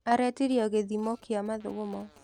Aretirio gĩthimo kĩa mathugumo.